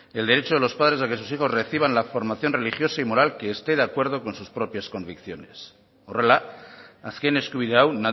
el derecho de los padres a que sus hijos reciban la formación religiosa y moral que esté de acuerdo con sus propias convicciones horrela azken eskubide hau